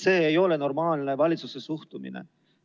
See ei ole normaalne valitsuse suhtumine.